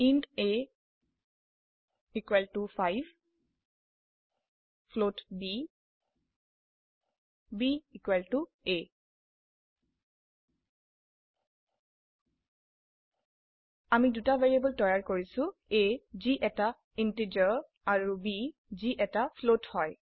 int a equal to 5 float b b equal to a আমি দুটি variable তৈয়াৰ কৰিছো a যি একটি ইন্টিজাৰ অৰু b যি একটি ফ্লোট হয়